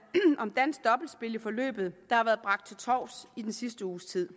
om dansk dobbeltspil i forløbet der har været bragt til torvs i den sidste uges tid